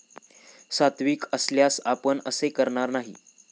सात्विक असल्यास आपण असे करणार नाही.